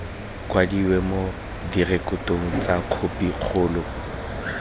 kwadiwe mo direkotong tsa khopikgolo